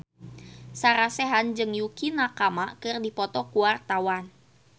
Sarah Sechan jeung Yukie Nakama keur dipoto ku wartawan